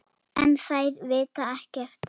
En þær vita ekkert.